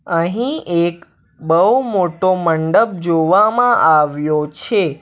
અહીં એક બઉ મોટો મંડપ જોવામાં આવ્યો છે.